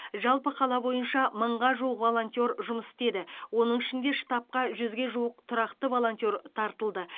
жалпы қала бойынша мыңға жуық волонтер жұмыс істеді оның ішінде штабқа жүзге жуық тұрақты волонтер тартылды